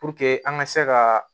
Puruke an ka se ka